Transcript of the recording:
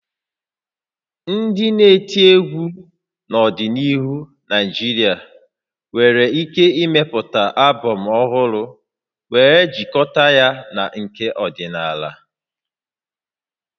Ndị na-eti egwu n'ọdịnihu na Naịjirịa nwere ike ịmepụta albọm ọhụrụ wee jikọta ya na nke ọdịnala